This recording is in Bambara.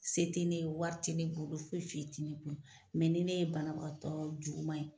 Se ne ye wari te ne bolo foyi foyi te ne kun mɛ ni ne ye banabagatɔ juguma ye